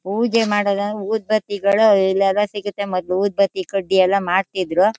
ಪೂಜೆ ಮಾಡೋಣ ಅಂದ್ರೆ ಉದ್ಬತ್ತಿಗಳು ಎಲ್ಲಾರ ಸಿಗತ್ತೆ ಮೊದ್ಲು ಉದ್ಬತ್ತಿ ಕಡ್ಡಿ ಎಲ್ಲಾ ಮಾಡ್ತಿದ್ರು.